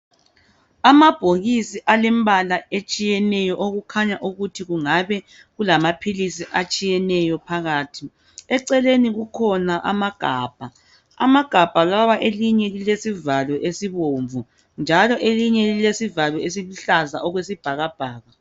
Amabhokisi alembala etshiyeneyo. Okukhanya ukuthi kungabe kulamaphilisi atshiyeneyo phakathi. Eceleni kukhona amagabha. Amagabha lawa, elinye lilesivalo esibomvu, njalo elinye lilesivalo esiluhlaza okwesibhakabhaka.